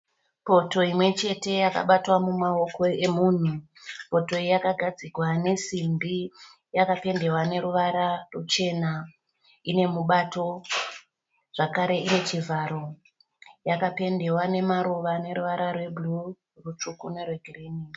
Poto imwe chete yakabatwa mumaoko omunhu. Poto iyi yakagadzigwa nesimbi yakapendewa noruvara ruchena. Ine mubato, zvakare ine chivharo. Yakapendewa namaruva noruvara rwebhuruu, rutsvuku norwegirini.